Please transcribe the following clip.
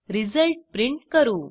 result print करू